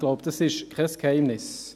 Ich glaube, dies ist kein Geheimnis.